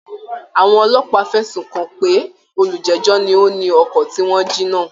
Àwọn ọlọ́pàá fẹ̀sùn kàn pé olùjẹ́jọ́ ni ó ni ọkọ̀ tí wọ́n jí náà